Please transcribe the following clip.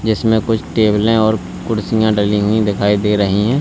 जिसमें कुछ टेबलें और कुर्सियां डली हुई दिखाई दे रही है।